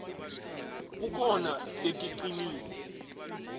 kukhona leticinile